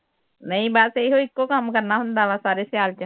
ਨਹੀ, ਬਸ ਇਹੋ ਇੱਕੋ ਕੰਮ ਕਰਨਾ ਹੁੰਦਾ ਵਾਂ ਸਾਰੇ ਸਿਆਲ ਚ